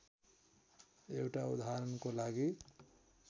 एउटा उदाहरणको लागि